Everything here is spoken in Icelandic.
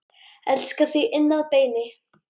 Elska þig inn að beini.